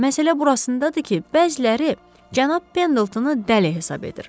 Məsələ burasındadır ki, bəziləri cənab Pendletonu dəli hesab edir.